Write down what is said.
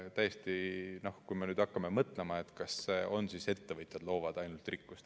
Tõesti, hakkame mõtlema, kas ainult ettevõtjad loovad rikkust.